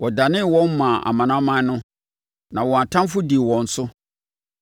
Ɔdanee wɔn maa amanaman no, na wɔn atamfoɔ dii wɔn so.